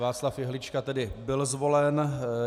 Václav Jehlička tedy byl zvolen.